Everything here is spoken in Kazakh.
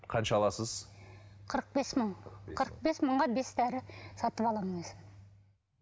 қанша аласыз қырық бес мың қырық бес мыңға бес дәрі сатып аламын өзім